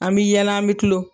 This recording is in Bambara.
An mi yɛlɛ an mi kulon